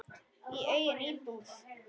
Í eigin íbúð.